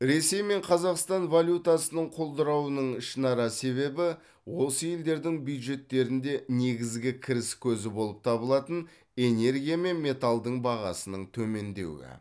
ресей мен қазақстан валютасының құлдырауының ішінара себебі осы елдердің бюджеттерінде негізгі кіріс көзі болып табылатын энергия мен металдың бағасының төмендеуі